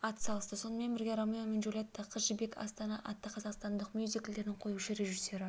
ат салысты сонымен бірге ромео мен джульетта қыз жібек астана атты қазақстандық мюзиклдердің қоюшы режиссері